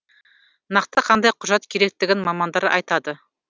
нақты қандай құжат керектігін мамандар айтады